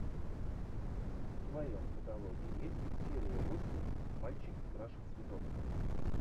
в твоем каталоге есть серия восемь мальчик краше цветов